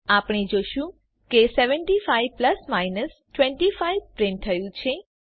આપણે જોશું કે 75 પ્લસ માઈનસ 25 પ્રિન્ટ થયું છે